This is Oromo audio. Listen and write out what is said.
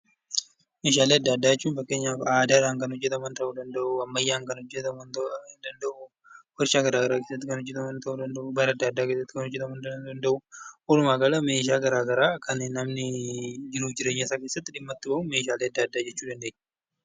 Meeshaalee addaa addaa kan jedhaman fakkeenyaaf aadaadhaan kan hojjetaman ta'uu danda'u, ammayyaan kan hojjetaman ta'uu danda'uu, warshaa garaagaraa keessatti kan hojjetaman ta'uu danda'uu, dhaabbata addaa addaa keessatti kan hojjetaman ta'uu danda'uu, walumaa gala meeshaa garaagaraa kan namni jiruu fi jireenya isaa keessatti dhimma itti bahu, meeshaalee addaa addaa jechuu dandeenya.